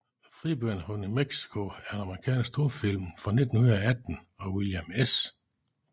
Fribytteren fra New Mexico er en amerikansk stumfilm fra 1918 af William S